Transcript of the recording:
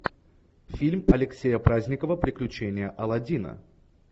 фильм алексея праздникова приключения аладдина